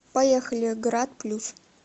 поехали грат плюс